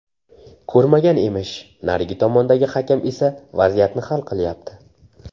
Ko‘rmagan emish... Narigi tomondagi hakam esa vaziyatni hal qilyapti.